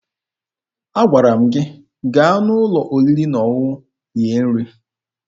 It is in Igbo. Agwara m gị gaa n'ụlọ oriri na ọṅụṅụ rie nri!